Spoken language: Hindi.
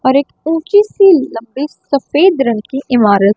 और एक ऊंची सी लकड़ी सफेद रंग की इमारत--